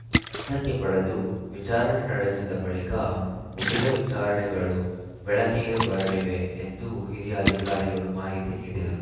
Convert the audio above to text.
ವಶಕ್ಕೆ ಪಡೆದು ವಿಚಾರಣೆ ನಡೆಸಿದ ಬಳಿಕ ಉಳಿದ ವಿಚಾರಣಗಳು ಬೆಳಕಿಗೆ ಬರಲಿವೆ ಎಂದು ಹಿರಿಯ ಅಧಿಕಾರಿಗಳು ಮಾಹಿತಿ ನೀಡಿದರು